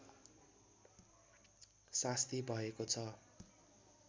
सास्ती भएको छ